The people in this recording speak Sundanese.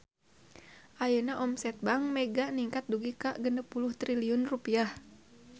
Ayeuna omset Bank Mega ningkat dugi ka 60 triliun rupiah